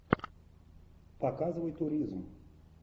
показывай туризм